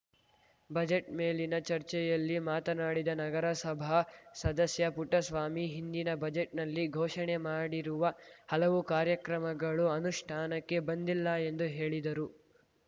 budget ಮೇಲಿನ ಚರ್ಚೆಯಲ್ಲಿ ಮಾತನಾಡಿದ ನಗರಸಭಾ ಸದಸ್ಯ ಪುಟ್ಟಸ್ವಾಮಿ ಹಿಂದಿನ ಬಜೆಟ್‌ನಲ್ಲಿ ಘೋಷಣೆ ಮಾಡಿರುವ ಹಲವು ಕಾರ್ಯಕ್ರಮಗಳು ಅನುಷ್ಠಾನಕ್ಕೆ ಬಂದಿಲ್ಲ ಎಂದು ಹೇಳಿದರು